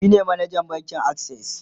shine manajan bankin akses